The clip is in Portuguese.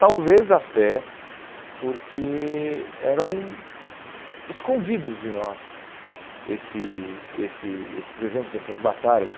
Talvez até porque eram escondidos de nós esse esse esses exemplos dessas batalhas.